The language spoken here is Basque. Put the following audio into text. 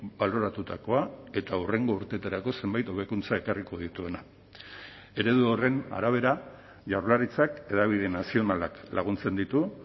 baloratutakoa eta hurrengo urteetarako zenbait hobekuntza ekarriko dituena eredu horren arabera jaurlaritzak hedabide nazionalak laguntzen ditu